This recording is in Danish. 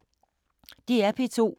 DR P2